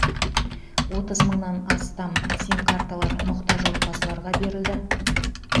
отыз мыңнан астам симкарталар мұқтаж отбасыларға берілді